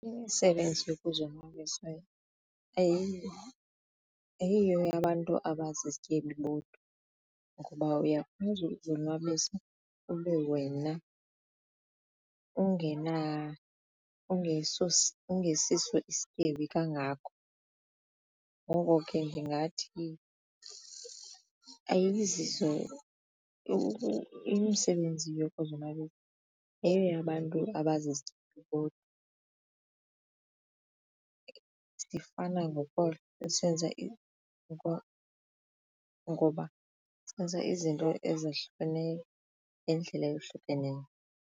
Imisebenzi yokuzonwabisa ayiyo eyabantu abazizityebi bodwa ngoba uyakwazi ukuzonwabisa ube wena ungesiso isityebi kangako ngoko ke ndingathi imsebenzi yokuzonwabisa ayoyabantu abazizityebi bodwa sifana senza izinto ezahlukeneyo ngendlela eyohlukeneyo.